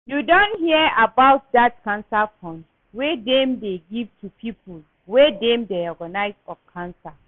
You don hear about dat cancer fund wey dem dey give to people wey dem diagnose of cancer?